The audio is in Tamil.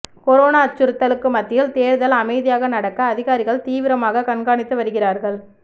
கொரோனா அச்சுறுத்தலுக்கு மத்தியில் தேர்தல் அமைதியாக நடக்க அதிகாரிகள் தீவிரமாக கண்காணித்து வருகிறார்கள்